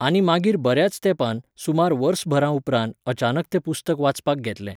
आनी मागीर बऱ्याच तेंपान, सुमार वर्सभरा उपरांत अचानक तें पुस्तक वाचपाक घेतलें